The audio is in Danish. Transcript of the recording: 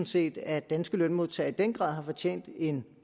set at danske lønmodtagere i den grad har fortjent en